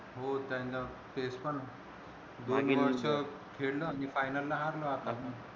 हो त्यांना ते पण काही वर्ष खेळलो आम्ही final ला हरलो आता